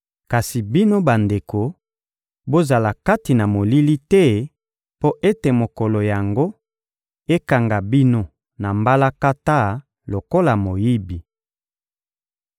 Kasi bino bandeko, bozali kati na molili te mpo ete mokolo yango ekanga bino na mbalakata lokola moyibi.